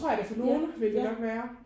Ja ja